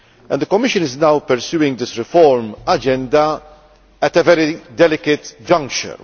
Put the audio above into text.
The Commission is now pursuing this reform agenda at a very delicate juncture.